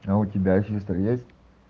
а у тебя сестра есть